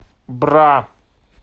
бра